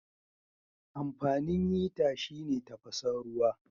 Amfanin hita shine tafasan ruwa.